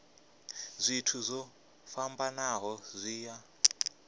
zwithu zwo fhambanaho zwi a